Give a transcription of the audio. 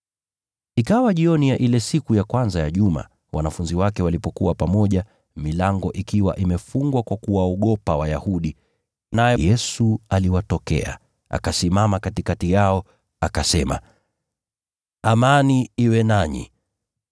Ikawa jioni ya ile siku ya kwanza ya juma, wanafunzi wake walikuwa pamoja, milango ikiwa imefungwa kwa kuwaogopa Wayahudi. Naye Yesu aliwatokea, akasimama katikati yao, akasema, “Amani iwe nanyi!”